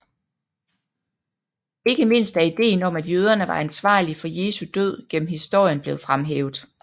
Ikke mindst er ideen om at jøderne var ansvarlige for Jesu død gennem historien blevet fremhævet